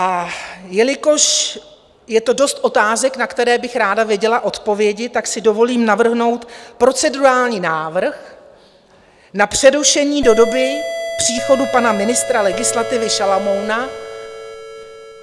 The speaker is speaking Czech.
A jelikož je to dost otázek, na které bych ráda věděla odpovědi, tak si dovolím navrhnout procedurální návrh na přerušení do doby příchodu pana ministra legislativy Šalomouna.